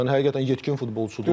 Yəni həqiqətən yetkin futbolçudur.